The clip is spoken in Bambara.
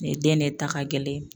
Nin ye den ne ta ka gɛlɛn